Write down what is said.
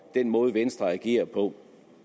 den måde venstre agerer på